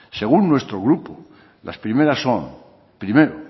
según nuestro grupo las primeras son primero